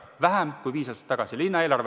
Vähem kui viis aastat tagasi!